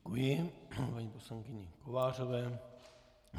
Děkuji paní poslankyni Kovářové.